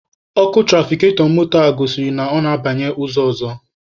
Ọkụ tụrafikatọ moto a gosiri na ọ na-abanye ụzọ ọzọ.